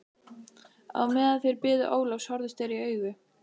Á meðan þeir biðu Ólafs horfðust þeir í augu.